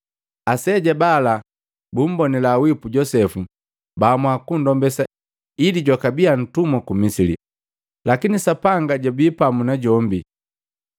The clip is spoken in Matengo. “Aseja bala bumbonila wipu Josepu baamua kundombesa ili jwakabia ntumwa ku Misili. Lakini Sapanga jwabii pamu na jombi,